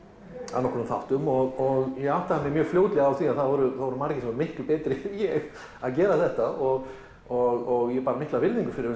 að nokkrum áttum og ég áttaði mig fljótlega á því að það voru voru margir miklu betri en ég að gera þetta og og ég bar mikla virðingu fyrir